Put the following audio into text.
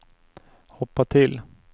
hoppa till